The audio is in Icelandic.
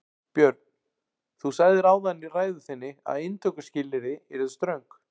Björn: Þú sagðir áðan í ræðu þinni að inntökuskilyrði yrðu ströng?